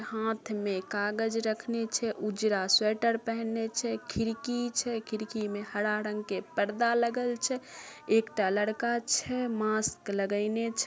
हाथ में कागज रखने छै उजारा स्वेटर पहने छै खिड़की छै खिड़की में हरा रंग के पर्दा लगल छै एकटा लड़का छै मास्क लगेएने छै ।